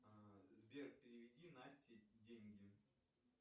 сбер переведи насте деньги